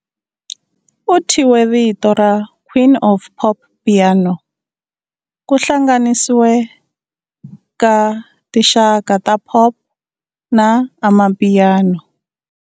U thyiwe vito ra" Queen of Popiano", ku hlanganisiwa ka tinxaka ta pop na amapiano.